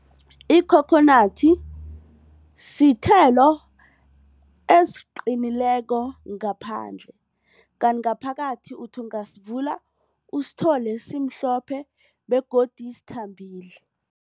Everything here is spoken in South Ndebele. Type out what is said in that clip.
Ikhokhonathi sithelo esiqinileko ngaphandle kanti ngaphakathi uthi ungasivula usithole simhlophe begodu sithambile.